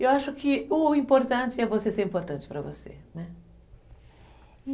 Eu acho que o importante é você ser importante para você, né?